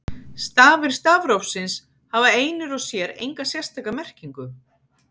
Stafir stafrófsins hafa einir og sér enga sérstaka merkingu.